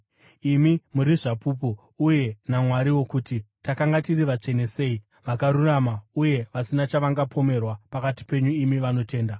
Imi muri zvapupu, uye naMwariwo, kuti takanga tiri vatsvene sei, vakarurama uye vasina chavangapomerwa pakati penyu imi vanotenda.